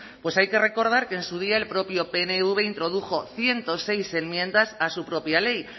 pues hay que recordar que en su día el propio pnv introdujo ciento seis enmiendas a su propia ley